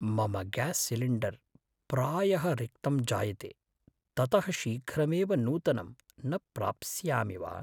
मम gas cylinder प्रायः रिक्तं जायते। ततः शीघ्रमेव नूतनं न प्राप्स्यामि वा?